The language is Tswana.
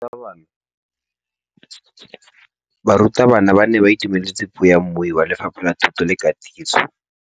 Barutabana ba ne ba itumeletse puô ya mmui wa Lefapha la Thuto le Katiso.